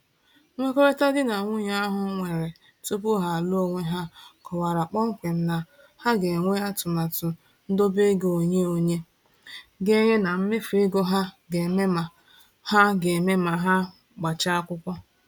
Nkwekọrịta di na nwunye ahụ nwere tupu ha alụọ onwe ha kọwara kpọmkwem na ha ga-enwe atụmatụ ndobeego onye-onye, ganye na mmefu ego ha ga-eme ma ha ga-eme ma ha gbachaa akwụkwọ.